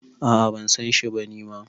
A` a ban san shi ba ni ma